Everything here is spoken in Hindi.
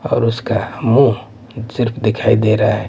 और उसका मुंह सिर्फ दिखाई दे रहा है।